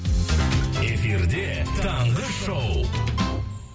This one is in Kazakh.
эфирде таңғы шоу